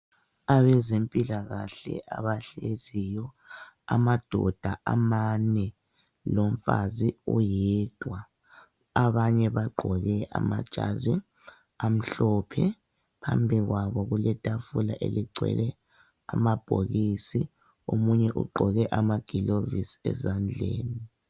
Abezempilakahle abahleziyo, ama doda amane lomfazi oyedwa. Abanye bagqoke amajazi amhlophe, phambikwabo kule tafula eligcwele amabhokisi, omunye ugqoke ama gilovisi ezandleni.